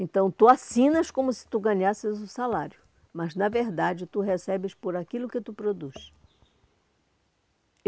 Então, tu assinas como se tu ganhasses o salário, mas, na verdade, tu recebes por aquilo que tu produz.